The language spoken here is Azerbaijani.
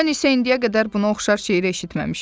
Mən isə indiyə qədər buna oxşar şeir eşitməmişəm.